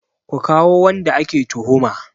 Ku kawo wanda ake tuhuma!